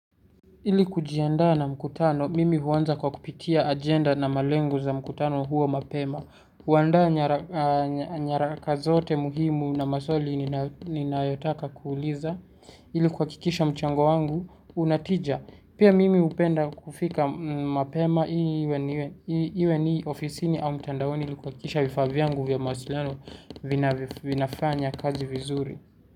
Ili kujiandaa na mkutano, mimi huwanza kwa kupitia agenda na malengoi za mkutano huo mapema. Huandaa nyaraka zote muhimu na maswali ninayotaka kuuliza. Ili kuhakikisha mchango wangu, unatija. Pia mimi upenda kufika mapema iwe ni ofisini au mtandaoni ili kuwakikisha vifaa vyangu vya mawasiliano vinafanya kazi vizuri.